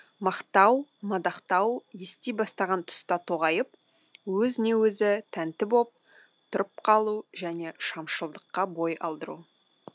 мақтау мадақтау ести бастаған тұста тоғайып өзіне өзі тәнті боп тұрып қалу және шамшылдыққа бой алдыру